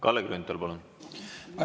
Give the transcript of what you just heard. Kalle Grünthal, palun!